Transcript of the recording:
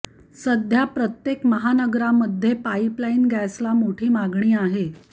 सध्या प्रत्येक महानगरामध्ये पाईपलाईन गॅसला मोठी मागणी आहे